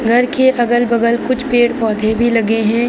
घर के अगल बगल कुछ पेड़ पौधे भी लगे हैं।